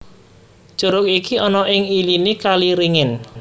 Curug iki ana ing iliné kali ringin